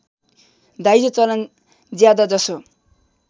दाइजो चलन ज्यादाजसो